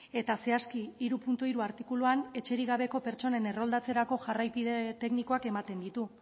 eta zehazki hiru puntu hiru artikuluan etxerik gabe pertsonen erroldatzerako jarraikipe teknikoak ematen ditu